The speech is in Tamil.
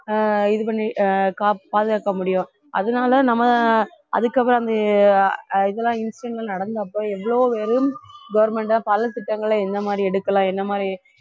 ஆஹ் இது பண்ணி அஹ் கா~ பாதுகாக்க முடியும் அதனால நம்ம அதுக்கப்புறம் அந்த அஹ் இதெல்லாம் incident ல நடந்தப்ப எவ்ளோ பேரு government ஆ பல திட்டங்களை எந்த மாதிரி எடுக்கலாம் என்ன மாதிரி